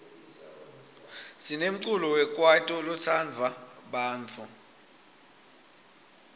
sinemculo wekwaito lotsandwa bantfu